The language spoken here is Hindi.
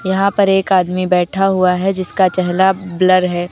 यहाँ पर एक आदमी बैठा हुआ है जिसका चेहला ब्लर है।